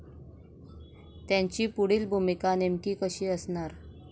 त्यांची पुढील भूमिका नेमकी कशी असणार?